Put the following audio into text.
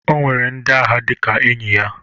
O nwere ndi agha dịka enyi ya.